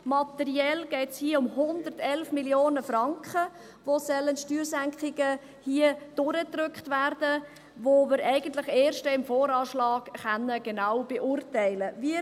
Materiell geht es hier um 111 Mio. Franken, die an Steuersenkungen durchgedrückt werden sollen, die wir eigentlich dann erst im Voranschlag (VA) genau beurteilen können.